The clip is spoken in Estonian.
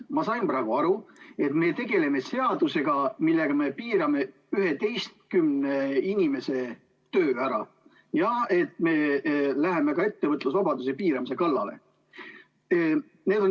Ma sain praegu aru, et me tegeleme seadusega, millega me piirame 11 inimese töö ära, ja me läheme ka ettevõtlusvabaduse piiramise kallale.